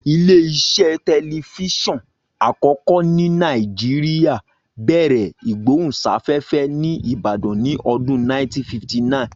Ilé iṣẹ́ tẹlifíṣọ̀n àkọ́kọ́ ní Nàìjíríà bẹ̀rẹ̀ ìgbóhùnsáfẹ́fẹ́ ní Ìbàdàn ní ọdún 1959